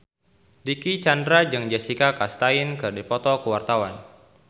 Dicky Chandra jeung Jessica Chastain keur dipoto ku wartawan